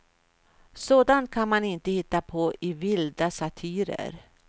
Sådant kan man inte hitta på i vilda satirer.